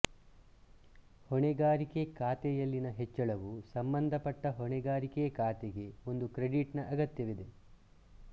ಹೊಣೆಗಾರಿಕೆ ಖಾತೆಯಲ್ಲಿನ ಹೆಚ್ಚಳವು ಸಂಬಂಧಪಟ್ಟ ಹೊಣೆಗಾರಿಕೆ ಖಾತೆಗೆ ಒಂದು ಕ್ರೆಡಿಟ್ ನ ಅಗತ್ಯವಿದೆ